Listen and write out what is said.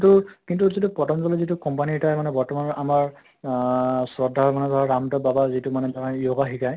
তু কিন্তু actually পতন্জলি যিটো company এটাই মানে বৰ্তমান আমাৰ আহ শ্ৰদ্ধাৰ মানে ধৰা ৰাম্দেৱ বাবাৰ যিটো মানে ধৰা yoga শিকায়